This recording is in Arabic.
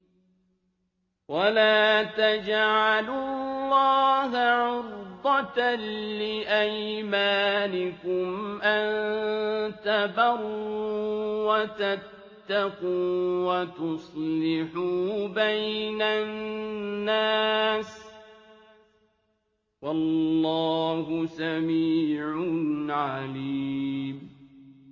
وَلَا تَجْعَلُوا اللَّهَ عُرْضَةً لِّأَيْمَانِكُمْ أَن تَبَرُّوا وَتَتَّقُوا وَتُصْلِحُوا بَيْنَ النَّاسِ ۗ وَاللَّهُ سَمِيعٌ عَلِيمٌ